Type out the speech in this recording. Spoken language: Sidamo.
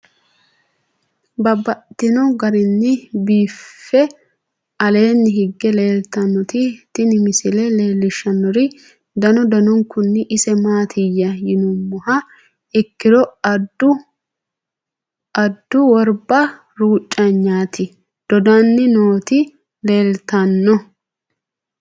Babaxxittinno garinni biiffe aleenni hige leelittannotti tinni misile lelishshanori danu danunkunni isi maattiya yinummoha ikkiro addu woribba ruucanyitte doddanni nootti leelittanno.